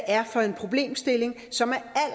er for en problemstilling som